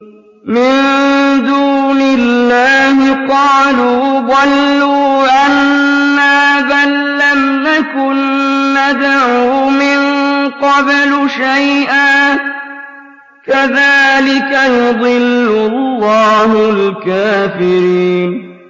مِن دُونِ اللَّهِ ۖ قَالُوا ضَلُّوا عَنَّا بَل لَّمْ نَكُن نَّدْعُو مِن قَبْلُ شَيْئًا ۚ كَذَٰلِكَ يُضِلُّ اللَّهُ الْكَافِرِينَ